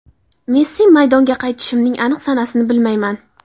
Messi: Maydonga qaytishimning aniq sanasini bilmayman.